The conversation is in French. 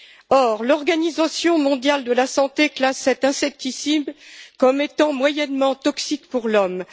Or, l'Organisation mondiale de la santé classe cet insecticide comme étant moyennement toxique pour l'homme.